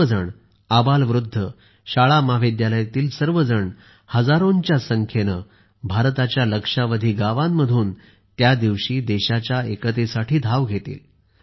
सर्वजण आबालवृद्ध शाळामहाविद्यालयातील सर्वजण हजारोंच्या संख्येने भारताच्या लक्षावधी गावांमधून त्या दिवशी देशाच्या एकतेसाठी धाव घेतील